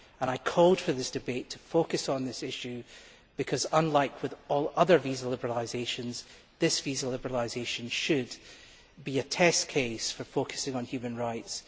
I called for this debate to focus on this issue because, unlike all other visa liberalisations, this visa liberalisation should be a test case for focusing on human rights.